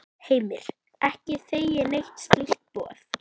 Heimir: Ekki þegið neitt slíkt boð?